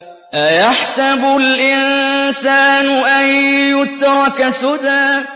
أَيَحْسَبُ الْإِنسَانُ أَن يُتْرَكَ سُدًى